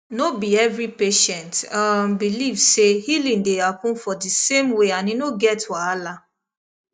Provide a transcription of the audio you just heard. no be every patient um believe say healing dey happen for di same way and e no get wahala